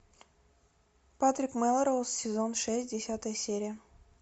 патрик мелроуз сезон шесть десятая серия